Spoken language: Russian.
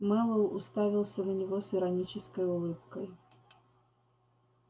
мэллоу уставился на него с иронической улыбкой